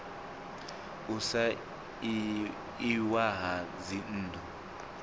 u fha iwa ha dzinnḓu